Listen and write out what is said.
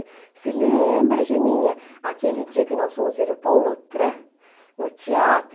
você lembra Geninha, aquele dia que nós fomos ver o Paul Lothran no teatro?